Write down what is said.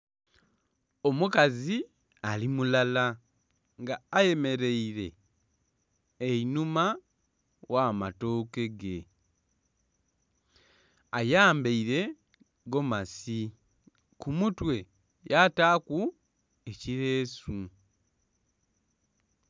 Omukazi ali mulala nga ayemeraire einhuma gh'amatooke ge ayambaire gomasi ku mutwe yataku ekiresu.